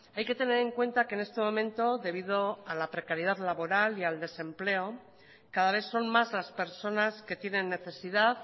hay que tener en cuenta que en este momento debido a la precariedad laboral y al desempleo cada vez son más las personas que tienen necesidad